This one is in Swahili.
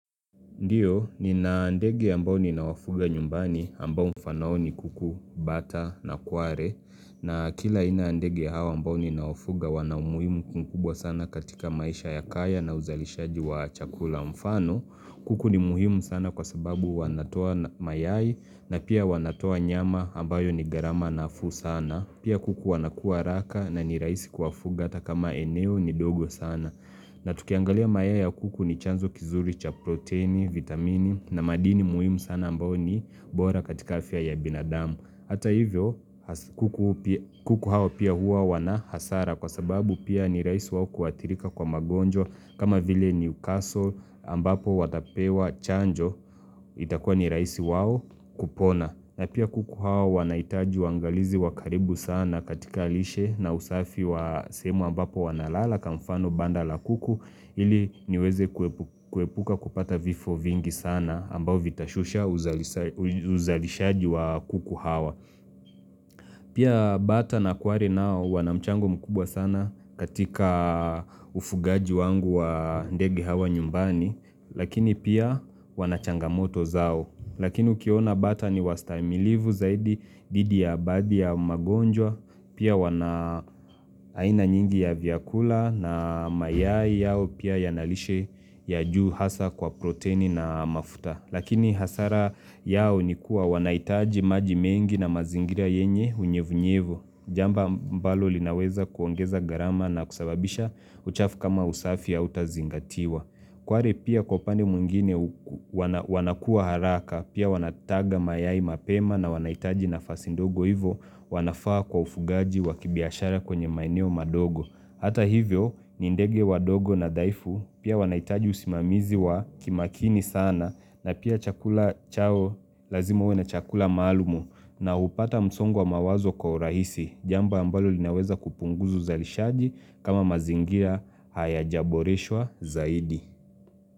Ndiyo, nina ndege ambao ninawafuga nyumbani ambao mfano wao ni kuku, bata na kware. Na kila aina ya ndege hawa ambao ninawafuga wana umuhimu mkubwa sana katika maisha ya kaya na uzalishaji wa chakula mfano. Kuku ni muhimu sana kwa sababu wanatoa mayai na pia wanatoa nyama ambayo ni gharama nafuu sana. Pia kuku wanakua haraka na nirahisi kuwafuga atakama eneo ni ndogo sana. Na tukiangalia mayai ya kuku ni chanzo kizuri cha proteini, vitamini na madini muhimu sana ambayo ni bora katika afya ya binadamu. Hata hivyo kuku hao pia huwa wana hasara kwa sababu pia ni rahisi wao kuathirika kwa magonjwa kama vile Newcastle ambapo watapewa chanjo itakuwa ni rahisi wao kupona. Na pia kuku hao wanahitaji wangalizi wakaribu sana katika lishe na usafi wa sehemu ambapo wanalala kwa mfano banda la kuku ili niweze kuepuka kupata vifo vingi sana ambao vitashusha uzalishaji wa kuku hawa. Pia bata na kware nao wanamchango mkubwa sana katika ufugaji wangu wa ndege hawa nyumbani Lakini pia wanachangamoto zao Lakini ukiona bata ni wastahimilivu zaidi dhidi ya baadhi ya magonjwa Pia wana aina nyingi ya vyakula na mayai yao pia yanalishe ya juu hasa kwa proteini na mafuta Lakini hasara yao nikuwa wanahitaji maji mengi na mazingira yenye unyevunyevu. Jamba ambalo linaweza kuongeza gharama na kusababisha uchafu kama usafi ya utazingatiwa. Kware pia kwa upande mwingine wanakua haraka, pia wanataga mayai mapema na wanahitaji nafasi ndogo hivo wanafaa kwa ufugaji wa kibiashara kwenye maeneo madogo. Hata hivyo ni ndege wadogo na dhaifu pia wanahitaji usimamizi wa kimakini sana na pia chakula chao lazima uwe na chakula malumu na hupata msongo wa mawazo kwa urahisi jambo ambalo linaweza kupunguza uzalishaji kama mazingira hayaja boreshwa zaidi.